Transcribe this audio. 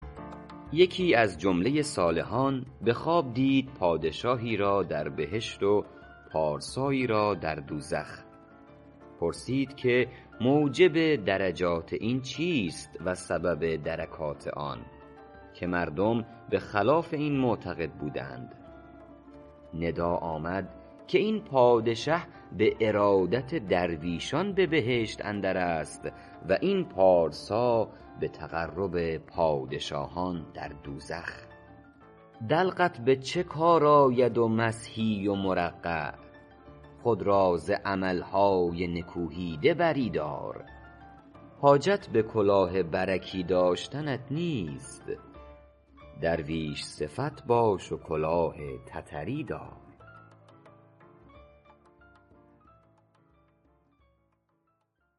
یکی از جمله صالحان به خواب دید پادشاهی را در بهشت و پارسایی در دوزخ پرسید که موجب درجات این چیست و سبب درکات آن که مردم به خلاف این معتقد بودند ندا آمد که این پادشه به ارادت درویشان به بهشت اندر است و این پارسا به تقرب پادشاهان در دوزخ دلقت به چه کار آید و مسحی و مرقع خود را ز عمل های نکوهیده بری دار حاجت به کلاه برکی داشتنت نیست درویش صفت باش و کلاه تتری دار